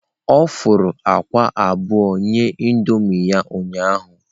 Ọ fụrụ akwa abụọ nye Indomie ya ụnyahụ.